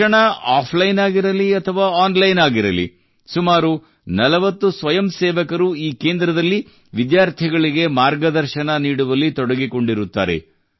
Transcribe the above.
ಶಿಕ್ಷಣ ಆಫ್ಲೈನ್ ಆಗಿರಲಿ ಅಥವಾ ಆನ್ಲೈನ್ ಆಗಿರಲಿ ಸುಮಾರು 40 ಸ್ವಯಂಸೇವಕರು ಈ ಕೇಂದ್ರದಲ್ಲಿ ವಿದ್ಯಾರ್ಥಿಗಳಿಗೆ ಮಾರ್ಗದರ್ಶನ ನೀಡುವಲ್ಲಿ ತೊಡಗಿಕೊಂಡಿರುತ್ತಾರೆ